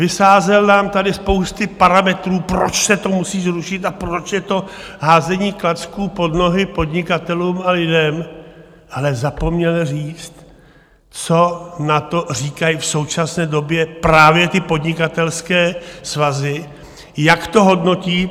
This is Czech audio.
Vysázel nám tady spousty parametrů, proč se to musí zrušit a proč je to házení klacků pod nohy podnikatelům a lidem, ale zapomněl říct, co na to říkají v současné době právě ty podnikatelské svazy, jak to hodnotí.